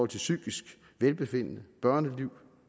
til psykisk velbefindende børneliv